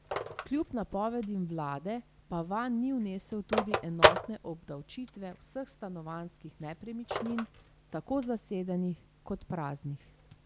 Kljub napovedim vlade pa vanj ni vnesel tudi enotne obdavčitve vseh stanovanjskih nepremičnin, tako zasedenih kot praznih.